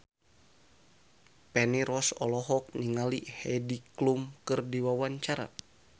Feni Rose olohok ningali Heidi Klum keur diwawancara